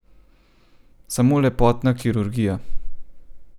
Samo lepotna kirurgija.